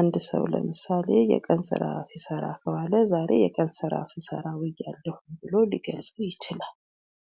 አንድ ሰው ለምሳሌ የቀን ስራ ሲሰራ ከዋለ ዛሬ የቀን ስራ ስሰራ ውያለሁ ብሎ ሊገልጽ ይችላል።